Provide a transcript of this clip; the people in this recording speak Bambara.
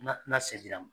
Na se dira ma